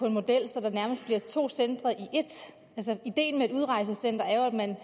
en model så der nærmest bliver to centre i ét altså ideen med et udrejsecenter er jo at man